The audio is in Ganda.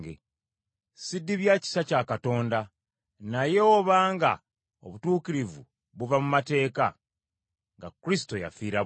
Ssidibya kisa kya Katonda; naye oba nga obutuukirivu buva mu mateeka, nga Kristo yafiira bwereere.